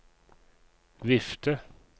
vifte